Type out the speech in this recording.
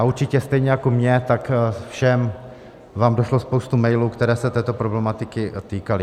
A určitě stejně jako mně, tak všem vám došla spousta mailů, které se této problematiky týkaly.